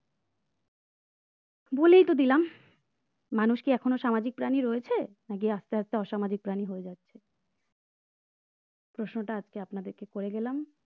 বলেই তো দিলাম মানুষ কি এখনো সামাজিক প্রাণী রয়েছে নাকি আস্তে আস্তে অসামাজিক প্রাণী হয়ে যাচ্ছে প্রশ্নটা আজকে আপনাদেরকে করে গেলাম?